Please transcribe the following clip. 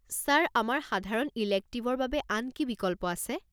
Sir, আমাৰ সাধাৰণ ইলেক্টিভৰ বাবে আন কি বিকল্প আছে?